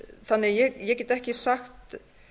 þannig að ég get ekki sagt